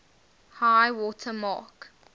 high water mark